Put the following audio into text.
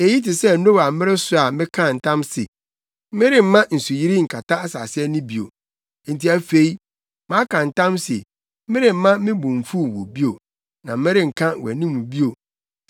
“Eyi te sɛ Noa mmere so a mekaa ntam se meremma nsuyiri nkata asase ani bio. Enti afei maka ntam se meremma me bo mfuw wo bio, na merenka wʼanim bio.